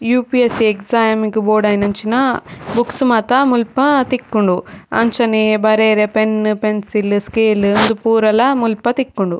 UPSC exam ಗ್ ಬೋಡಾಯಿನಂಚಿನ books ಮಾತ ಮುಲ್ಪ ತಿಕ್ಕುಂಡು ಅಂಚನೆ ಬರೆರೆ ಪೆನ್ನ್ ಪೆನ್ಸಿಲ್ ಸ್ಕೇಲ್ ಉಂದು ಪೂರಲ ಮುಲ್ಪ ತಿಕ್ಕುಂಡು.